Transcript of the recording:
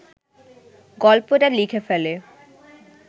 গল্পটা লিখে ফেলে